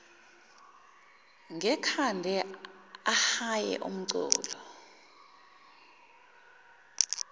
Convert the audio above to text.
ngekhanda ahaye umculo